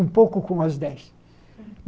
Um pouco com as dez.